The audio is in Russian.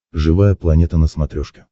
живая планета на смотрешке